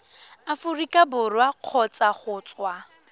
aforika borwa kgotsa go tswa